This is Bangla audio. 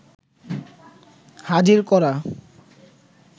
হাজির করা